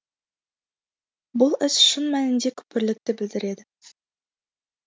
бұл іс шын мәнінде күпірлікті білдіреді